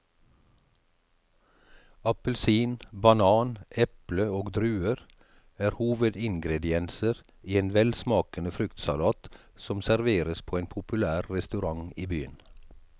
Appelsin, banan, eple og druer er hovedingredienser i en velsmakende fruktsalat som serveres på en populær restaurant i byen.